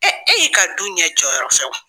e y'i ka du ɲɛ jɔyɔrɔ fɛ wa?